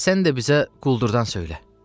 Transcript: Sən də bizə quldurdan söylə.